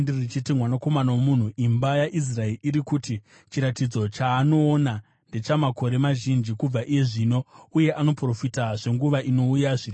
“Mwanakomana womunhu, imba yaIsraeri iri kuti, ‘Chiratidzo chaanoona ndechamakore mazhinji kubva iye zvino, uye anoprofita zvenguva inouya zviri kure.’